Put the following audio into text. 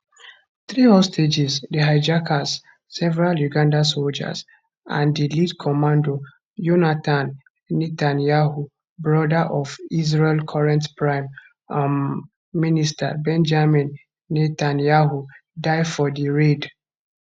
three hostages the hijackers several uganda soldiers and di lead commando yonatan netanyahu brother of israel current prime um minister benjamin netanyahu die for di raid